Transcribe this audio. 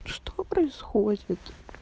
что происходит